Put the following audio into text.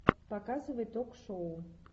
показывай ток шоу